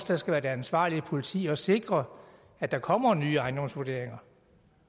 der skal være det ansvarlige politi og sikre at der kommer nye ejendomsvurderinger